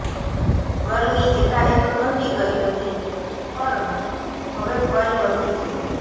ગરમી એકાએક ઘટી ગઈ હતી પરં હવે ફરી વધી છે